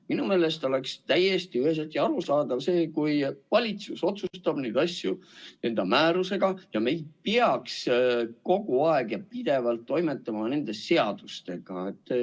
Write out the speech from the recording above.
Minu meelest oleks täiesti üheselt arusaadav, kui valitsus otsustaks neid asju määrusega ja me ei peaks pidevalt toimetama nende seadustega.